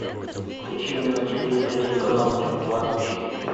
включи мне на телевизоре телеканал мир двадцать четыре